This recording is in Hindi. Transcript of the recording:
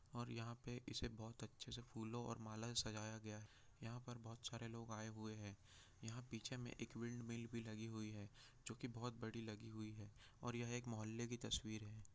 और यहाँ पे इसे बहुत अच्छे से फूलों और मालाओ से सजाया गया यहाँ पर बहुत सारे लोग आये हुए है यहाँ पीछे में एक विंडमिल लगी हुई है जो की बहुत बड़ी लगी हुई है और यह एक मोहल्ले की तस्वीर हैं।